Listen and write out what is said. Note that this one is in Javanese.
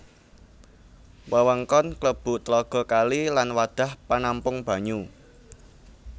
Wewengkon klebu tlaga kali lan wadhah panampung banyu